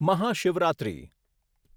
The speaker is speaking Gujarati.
મહાશિવરાત્રી